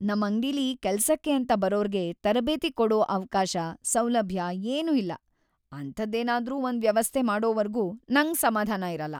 ನಮ್ ಅಂಗ್ಡಿಲಿ ಕೆಲ್ಸಕ್ಕೆ ಅಂತ ಬರೋರ್ಗೆ ತರಬೇತಿ ಕೊಡೋ ಅವ್ಕಾಶ, ಸೌಲಭ್ಯ ಏನೂ ಇಲ್ಲ, ಅಂಥದ್ದೇನಾದ್ರೂ ‌ಒಂದ್ ವ್ಯವಸ್ಥೆ ಮಾಡೋವರ್ಗೂ ನಂಗ್ ಸಮಾಧಾನ ಇರಲ್ಲ.